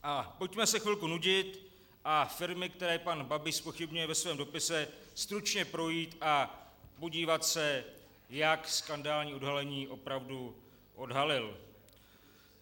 Pojďme se chvilku nudit a firmy, které pana Babiš zpochybňuje ve svém dopise, stručně projít a podívat se, jak skandální odhalení opravdu odhalil.